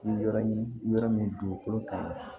Yɔrɔ ɲini yɔrɔ min dugukolo kaɲi